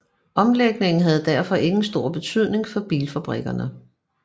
Omlægningen havde derfor ingen stor betydning for bilfabrikkerne